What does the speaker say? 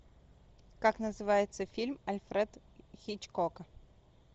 как называется фильм альфред хичкока